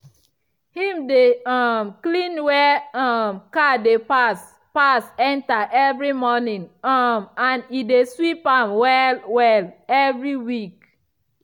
him dey um clean where um car dey pass pass enter evri morning um and e dey sweep am well-well evri week.